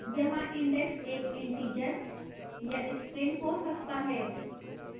यहाँ index एक integer या string हो सकता है